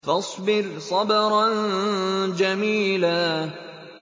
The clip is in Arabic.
فَاصْبِرْ صَبْرًا جَمِيلًا